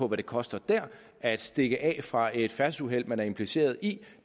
det koster der at stikke af fra et færdselsuheld man er impliceret i